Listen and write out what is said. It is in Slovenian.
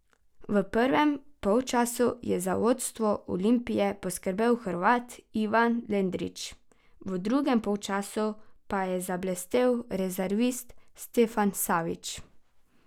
V prvem polčasu je za vodstvo Olimpije poskrbel Hrvat Ivan Lendrić, v drugem polčasu pa je zablestel rezervist Stefan Savić.